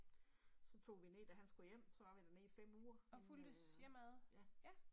Så tog vi ned da han skulle hjem, så var vi dernede i 5 uger inden æh ja